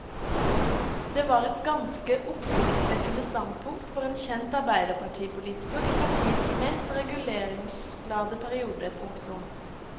Det var et ganske oppsiktsvekkende standpunkt for en kjent arbeiderpartipolitiker i partiets mest reguleringsglade periode. punktum